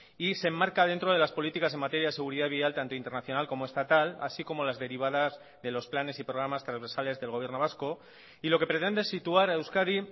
y se enmarca dentro de las políticas en materia de seguridad vial tanto internacional como estatal así como las derivadas de los planes y programas transversales del gobierno vasco y lo que pretende es situar a euskadi